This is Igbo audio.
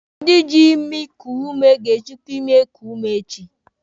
Ndị jị imi koo ume ga-ejikwa imi eko ume echi.